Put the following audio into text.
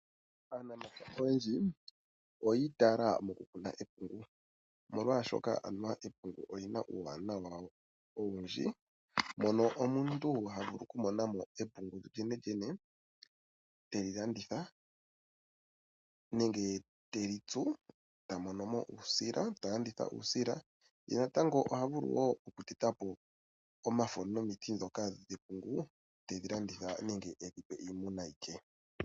Aanapya oyendji oyiitaala mokukuna epungu, omolwashoka anuwa epungu olina uuwanawa owundji , mono omuntu havulu okumona epungu lyolyenelyene, teli landitha nenge teli tsu , eta monomo uusila, eta landitha uusila . Ye natango wo oha vulu okutetapo omafo nomiti ndhoka tedhi landithe nenge tedhi pe iimuna ye.